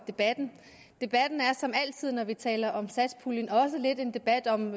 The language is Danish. debatten debatten er som altid når vi taler om satspuljen også lidt en debat om